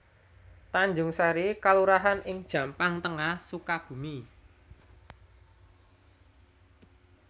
Tanjungsari kelurahan ing Jampang Tengah Sukabumi